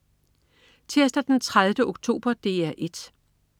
Tirsdag den 30. oktober - DR 1: